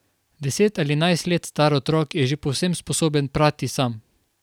Deset ali enajst let star otrok je že povsem sposoben prati sam.